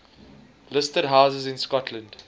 listed houses in scotland